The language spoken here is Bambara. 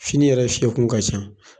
Fini yɛrɛ fiɲɛkun ka ca.